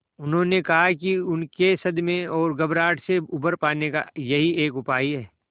उन्होंने कहा कि उनके सदमे और घबराहट से उबर पाने का यही एक उपाय है